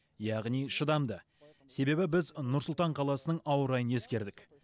яғни шыдамды себебі біз нұр сұлтан қаласының ауа райын ескердік